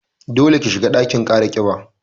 Dole ki shiga ɗakin kara ƙiba